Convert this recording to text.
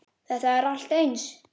Þetta er allt eins.